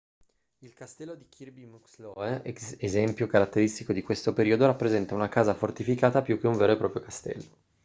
il castello di kirby muxloe esempio caratteristico di questo periodo rappresenta una casa fortificata più che un vero e proprio castello